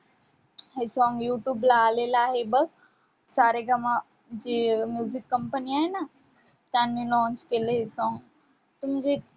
हे song YouTube ला आलेलं आहे बघ. सारेगम जे music company आहे ना त्यांनी launch केलं आहे हे song ते म्हणजे